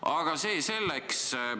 Aga see selleks.